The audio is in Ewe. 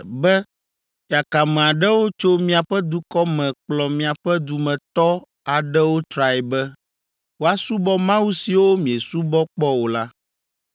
be yakame aɖewo tso miaƒe dukɔ me kplɔ miaƒe dumetɔ aɖewo trae be, ‘Woasubɔ mawu siwo miesubɔ kpɔ o’ la,